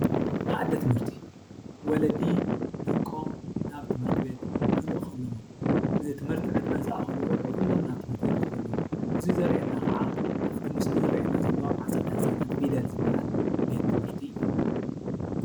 ማኣዲ ትምህርቲ ወለዲ ደቆም ናብ ትምህርቲ ቤት ክልእኹ ኣለዎም። ንትምህርቲ ዕድመ ዝኣኸሉ ቆልዑ ኹሎም ናብ ትምህርቲ ቤት ክኸዱ ኣለዎም። እዙይ ዘርእየና ኻዓ ኣፍቲ ምስሊ ዘርእየና ዘሎዋ ኣፀደ ህፃናት ፊደል ዝባሃል ቤት ትምህርቲ እዩ።